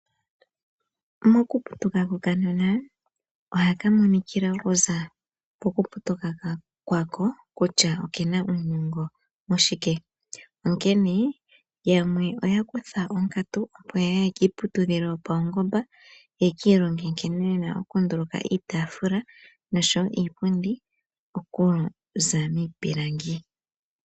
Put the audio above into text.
Mokuputuka kokanona oha ka monikila okuza pokuputuka kwako kutya oke na uunongo moshike onkene yamwe oya kutha onkatu opo ya ye kiiputudhilo yopaungomba ye kiilonge nkene ye na okunduluka iitafula noshowo niipundi okuza miipilangi.